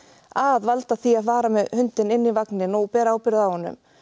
að valda því að fara með hundinn inn í vagninn og bera ábyrgð á honum